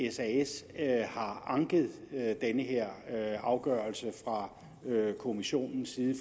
at sas har anket den her afgørelse fra kommissionens side